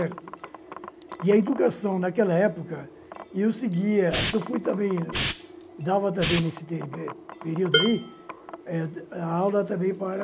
certo. E a educação, naquela época, e eu seguia, que eu fui também dava também nesse ne período aí, eh a aula também para